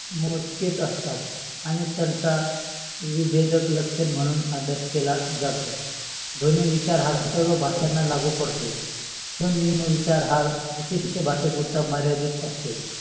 मोचकेच असतात आणि त्यांचा विभेदक म्हणून अभाय्स केला जातो विचार हा सर्व भाषांना लागू पडतो. स्वनेम विचार हा विशिष्ट भाषे पुरता मर्यादित असतो.